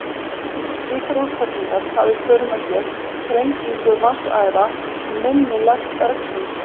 Slíkar útfellingar hafa í för með sér þrengingu vatnsæða og minni lekt bergsins.